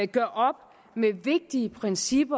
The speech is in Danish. gør op med et vigtigt princip